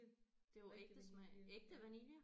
Det er jo ægte smag ægte vanilje